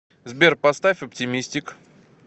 сбер поставь оптимистик